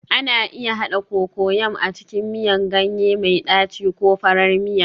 Ana iya haɗa Cocoyam a cikin miyan ganye mai ɗaci ko farar miya